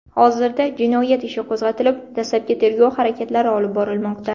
Hozirda jinoyat ishi qo‘zg‘atilib, dastlabki tergov harakatlari olib borilmoqda.